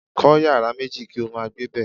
Kó̩ yàrá méjì kí ó máa gbébè̩.